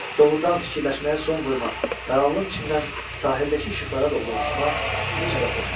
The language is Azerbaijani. Doğrudan fikirləşməyə son qoymaq, qaranlıq içindən sahildəki işıqlara doğru uçmaq necə də xoş idi.